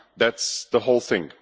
That is the whole thing.